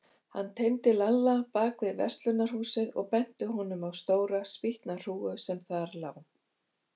Hann teymdi Lalla bak við verslunarhúsið og benti honum á stóra spýtnahrúgu sem þar lá.